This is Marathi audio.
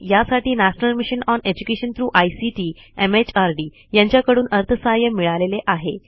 यासाठी national mission on education through ICT MHRD यांच्याकडून अर्थसहाय्य मिळालेले आहे